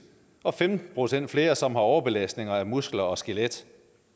og femten procent flere som har overbelastning af muskler og skelet